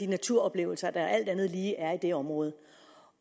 naturoplevelser der alt andet lige er i det område